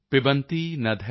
Meo ਨਾਂਭ